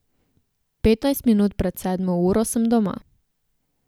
Petnajst minut pred sedmo uro sem doma.